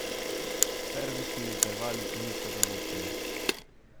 Servisni intervali niso določeni.